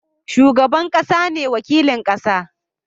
Shugaban ƙasa ne wakilin ƙasa